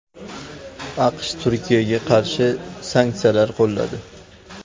AQSh Turkiyaga qarshi sanksiyalar qo‘lladi .